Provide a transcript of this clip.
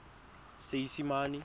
seesimane